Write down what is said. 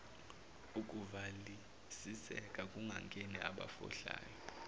ukuvalisiseka kungangeni abafohlayo